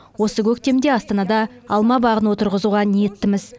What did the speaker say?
осы көктемде астанада алма бағын отырғызуға ниеттіміз